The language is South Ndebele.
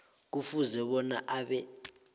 kufuze bona abe